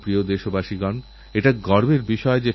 আমারপ্রিয় দেশবাসী এখন সংসদের অধিবেশন চলছে